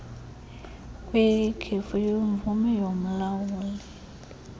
kwekhefu lemvume yomlawuli